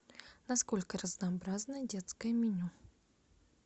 насколько разнообразно детское меню